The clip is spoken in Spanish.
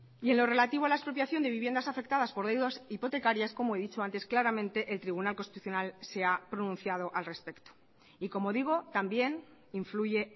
y en lo relativo a la expropiación de viviendas afectadas por deudas hipotecarias como he dicho antes claramente el tribunal constitucional se ha pronunciado al respecto y como digo también influye